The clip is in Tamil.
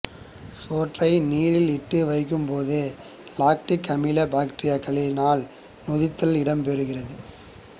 சோற்றை நீரில் இட்டு வைக்கும்போது இலக்டிக் அமில பக்டீரியாக்களினால் நொதித்தல் இடம்பெறுகிறது